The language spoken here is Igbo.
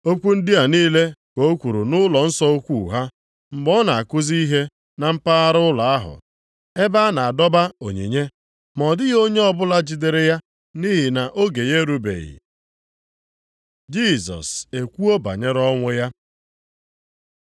Okwu ndị a niile ka o kwuru nʼụlọnsọ ukwu ha, mgbe ọ na-akụzi ihe na mpaghara ụlọ ahụ ebe a na-adọba onyinye. Ma ọ dịghị onye ọbụla jidere ya nʼihi na oge ya erubeghị. Jisọs ekwuo banyere ọnwụ ya